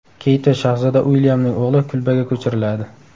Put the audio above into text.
Keyt va shahzoda Uilyamning o‘g‘li kulbaga ko‘chiriladi.